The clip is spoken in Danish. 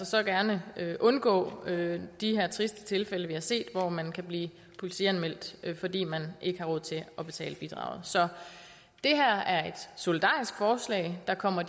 så gerne undgå de triste tilfælde vi har set hvor man kan blive politianmeldt fordi man ikke har råd til at betale bidraget så det her er et solidarisk forslag der kommer